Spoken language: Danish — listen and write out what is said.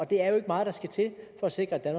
det er jo ikke meget der skal til for at sikre at